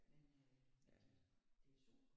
Men øh de har det er super